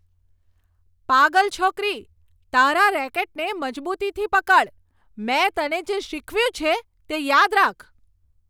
પાગલ છોકરી. તારા રેકેટને મજબૂતીથી પકડ. મેં તને જે શીખવ્યું છે, તે યાદ રાખ.